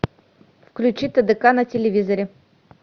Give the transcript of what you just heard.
включи тдк на телевизоре